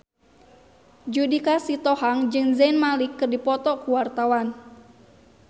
Judika Sitohang jeung Zayn Malik keur dipoto ku wartawan